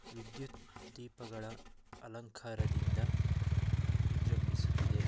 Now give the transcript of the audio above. ಗಡಿಯಾರ ಕಂಬವು ವಿದ್ಯುತ್ ದೀಪಗಳ ಅಲಂಕಾರದಿಂದ ವಿಜೃಂಭಿಸುತ್ತಿದೆ.